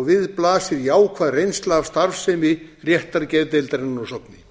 og við blasir jákvæð reynsla af starfsemi réttargeðdeildarinnar að sogni